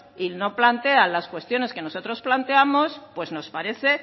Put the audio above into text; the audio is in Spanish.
y no plantean las cuestiones que nosotros planteamos pues nos parece